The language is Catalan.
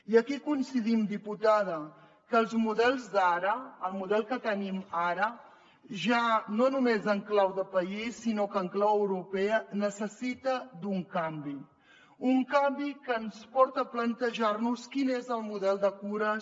i aquí coincidim diputada que els models d’ara el model que tenim ara ja no només en clau de país sinó en clau europea necessita un canvi un canvi que ens porta a plantejar nos quin és el model de cures